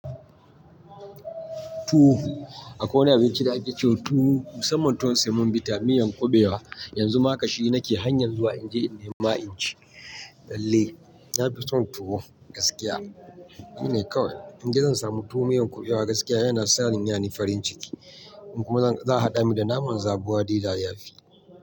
Tuwo, akwai wani abinci da ake ce wa tuwo musamman tuwon semo vita da miyan kuɓewa. Yanzu ma haƙa shi nake hanyar zuwa in je in nema inci. Lalle na fi son tuwo gaskiya. Ni ne kawai, in ji zan samu tuwo miyan kuɓewa gaskiya yana sanyani farin ciki. In kuma za a haɗa mini da naman zabuwa dai da dayafi.